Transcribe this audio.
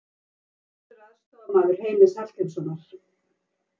Hver verður aðstoðarmaður Heimis Hallgrímssonar?